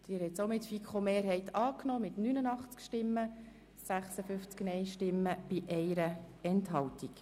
Sie haben den Antrag der FiKo-Mehrheit und der Regierung angenommen.